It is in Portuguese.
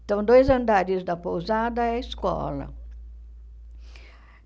Então, dois andares da pousada é a escola.